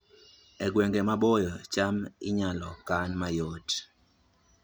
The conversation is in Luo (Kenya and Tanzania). E gwenge maboyo, cham inyalo kan mayot